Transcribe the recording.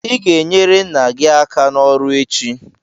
ị ga-enyere nna gị aka n'ọrụ echi!